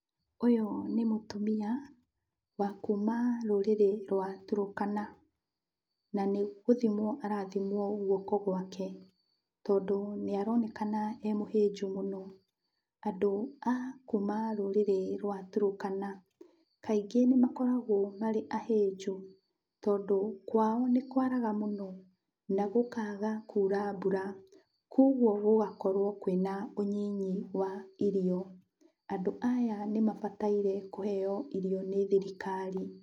Ũyũ nĩ mũtumia wa kuma rĩrĩrĩ rwa Turũkana, na nĩgũthimwo arathimwo guoko gwake, tondũ nĩaronekana e mũhĩnju mũno. Andũ a kuma rũrĩrĩ rwa Turũkana, kaingĩ nĩmakoragwo marĩ ahĩnju, tondũ kwao nĩkwaraga mũno na gũkaga kura mbura. Kwoguo gũgakorwo kwĩna ũnyinyi wa irio. Andũ aya nĩmabataire kũheo irio nĩ thirikari.